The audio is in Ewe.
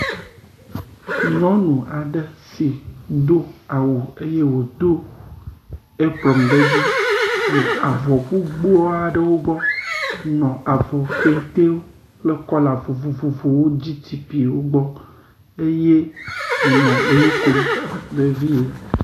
Nyɔnu aɖe si ɖo awu eye wòdo epron ɖe dzi nɔ avɔ gbogboa ɖewo gbɔ nɔ avɔ kente kple kɔla vovovovowo GTP le wo gbɔ eye wònɔ nu kom vevie.